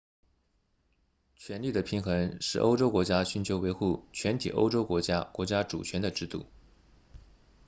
权力的平衡是欧洲国家寻求维护全体欧洲国家国家主权的制度